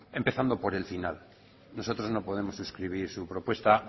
empezando por el final nosotros no podemos suscribir su propuesta